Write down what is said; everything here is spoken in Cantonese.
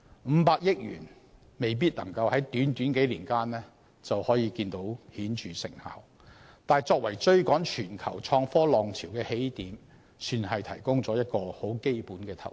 五百億元未必能夠在短短數年間取得顯著成效，但作為追趕全球創科浪潮的起點，亦算是提供了一種很基本的投資。